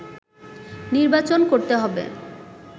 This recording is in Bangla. নির্বাচন করতে হবে”